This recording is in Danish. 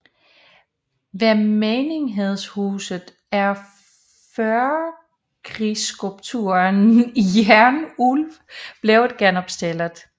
Ved menighedshuset er førkrigsskulpturen Jernulv blevet genopstillet